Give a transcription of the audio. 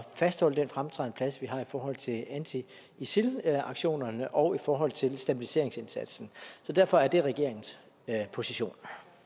fastholde den fremtrædende plads vi har i forhold til anti isil aktionerne og i forhold til stabiliseringsindsatsen så derfor er det regeringens position